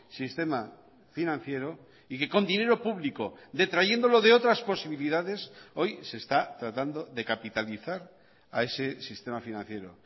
sistema financiero y que con dinero público detrayéndolo de otras posibilidades hoy se está tratando de capitalizar a ese sistema financiero